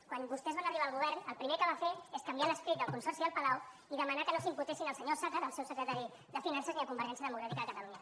quan vostès van arribar al govern el primer que va fer és canviar l’escrit del consorci del palau i demanar que no s’imputessin el senyor osàcar el seu secretari de finances ni convergència democràtica de catalunya